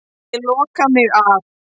Ég loka mig af.